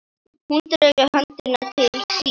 Hún dregur höndina til sín.